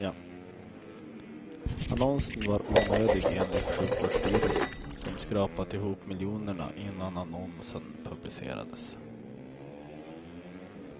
Annonsen var onödig enligt sjukvårdsstyrelsen, som skrapat ihop miljonerna innan annonsen publicerades.